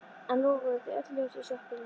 Enn loguðu þó öll ljós í sjoppunni.